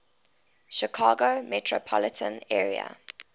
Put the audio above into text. chicago metropolitan area